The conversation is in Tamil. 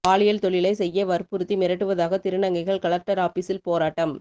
பாலியல் தொழிலை செய்ய வலியுறுத்தி மிரட்டுவதாக திருநங்கைகள் கலெக்டர் ஆபீசில் போராட்டம்